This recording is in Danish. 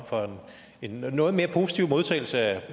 for en noget mere positiv modtagelse af